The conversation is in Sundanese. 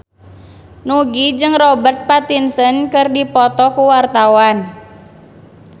Nugie jeung Robert Pattinson keur dipoto ku wartawan